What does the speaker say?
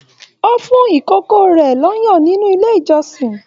O fún ikòkò rẹ l'ọyan nínú ilé ìjọsìn.